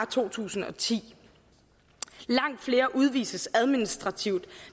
to tusind og ti langt flere udvises administrativt